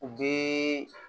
U bɛ